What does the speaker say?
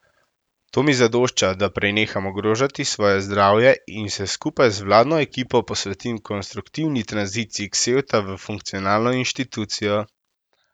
To mi zadošča, da preneham ogrožati svoje zdravje in se skupaj z vladno ekipo posvetim konstruktivni tranziciji Ksevta v funkcionalno inštitucijo.